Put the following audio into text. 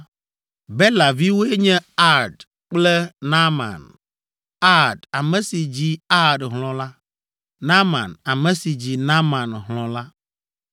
Bela viwoe nye Ard kple Naaman: Ard, ame si dzi Ard hlɔ̃ la, Naaman, ame si dzi Naaman hlɔ̃ la.